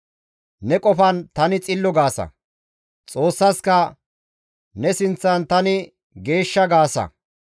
Ne qofan, ‹Tani xillo› gaasa; Xoossaska, ‹Ne sinththan tani geeshsha› gaasa.